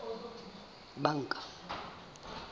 banka